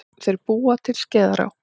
Þeir búa til Skeiðará.